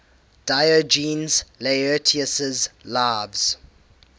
diogenes laertius's lives